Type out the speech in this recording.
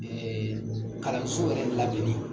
Ee kalanso yɛrɛ ladonni